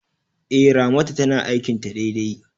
E, Ramatu tana aikin ta daidai.